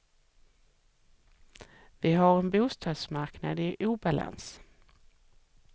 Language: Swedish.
Vi har en bostadsmarknad i obalans.